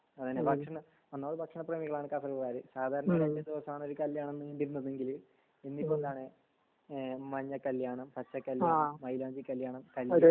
ഒന്നാമത് ഭക്ഷണ പ്രേമികളാണ് കാസര്കോട്ട്കാർ സാധാരണ രണ്ട് ദിവസണ് ഒരു കല്യാണം നീണ്ടിരുന്നതെങ്കിൽ ഇന്നിപ്പോ എന്താണ് മഞ്ഞ കല്യാണം പച്ച കല്യാണം മൈലാഞ്ചി കല്യാണം